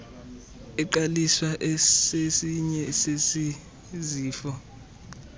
eqaliswa sesinye sezifo